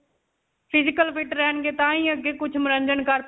physical fit ਰਹਿਣਗੇ ਤਾਂਹੀ ਅੱਗੇ ਕੁਝ ਮਨੋਰੰਜਨ ਕਰ.